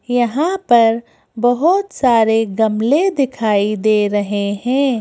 यहां परबहुत सारे गमले दिखाई दे रहे हैं।